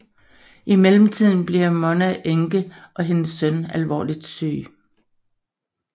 I mellemtiden bliver Monna enke og hendes søn alvorligt syg